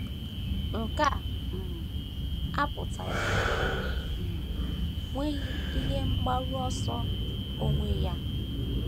Nke a um apụtaghị na o um nweghị ihe mgbaru ọsọ onwe onye.